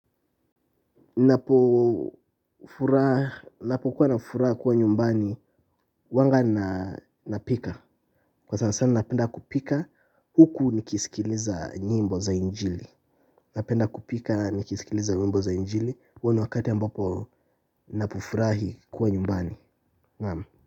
Ninapo furaha, ninapokuwa na furaha kuwa nyumbani huwanga na napika. Kwa sana sana napenda kupika huku nikisikiliza nyimbo za injili napenda kupika nikisikiliza nyimbo za injili. Huo ni wakati ambapo napofurahi kuwa nyumbani.